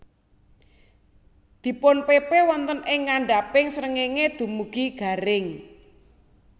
Dipunpepe wonten ing ngandhaping srengéngé dumugi garing